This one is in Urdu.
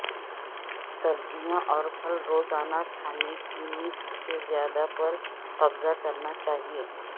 سبزیاں اور پھل روزانہ کھانے کی نصف سے زیادہ پر قبضہ کرنا چاہئے